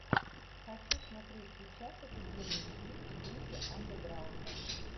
хочу смотреть сейчас офигенный фильм в духе андеграунда